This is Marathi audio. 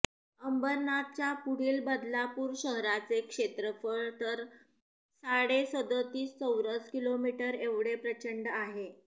अंबरनाथच्या पुढील बदलापूर शहराचे क्षेत्रफळ तर साडेसदोतीस चौरस किलोमीटर एवढे प्रचंड आहे